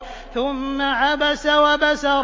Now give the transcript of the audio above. ثُمَّ عَبَسَ وَبَسَرَ